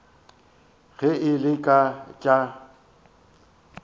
ge e le ka tša